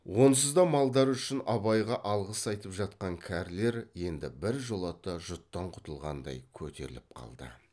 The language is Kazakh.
онсыз да малдары үшін абайға алғыс айтып жатқан кәрілер енді біржолата жұттан құтылғандай көтеріліп қалды